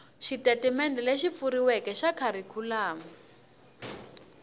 xitatimendhe lexi pfuxetiweke xa kharikhulamu